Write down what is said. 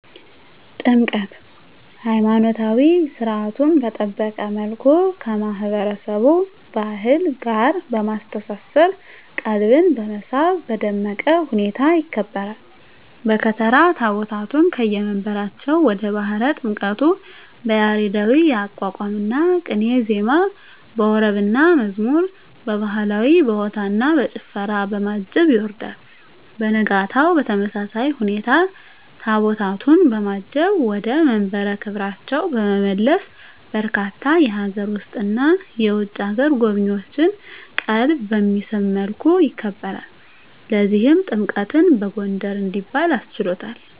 ጥምቀት!! ሀይማኖታዊ ሰርዓቱን በጠበቀ መልኩ ከማህበረሰቡ ባህል ጋር በማስተሳሰር ቀልብን በመሳብ በደመቀ ሁኔታ ይከበራል። በከተራ ታቦታቱን ከየመንበራቸው ወደ ባህረ ጥምቀቱ በያሬዳዊ የአቋቋምና ቅኔ ዜማ፣ በወረብና መዝሙር፣ በባህላዊ በሆታና በጭፈራ፣ በማጀብ ያወርዳል። በነጋታው በተመሳሳይ ሁኔታ ታቦታቱን በማጀብ ወደ መንበረ ክብራቸው በመመለስ በርካታ የሀገር ውስጥና የውጭ አገር ጎብኚዎችን ቀልብ በሚስብ መልኩ ያከብራል። ለዚህም ጥምቀትን በጎንደር እንዲባል አስችሎታል!!